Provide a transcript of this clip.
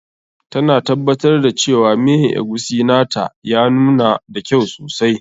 Ta na tabbatar da cewa miyan eguisi na ta ya nuna da kyau sosai.